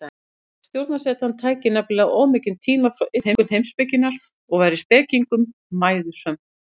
Stjórnarsetan tæki nefnilega of mikinn tíma frá iðkun heimspekinnar og væri spekingnum mæðusöm.